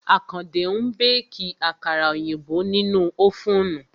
Àkàndé ń béèkì àkàrà òyìnbó nínú ófùnù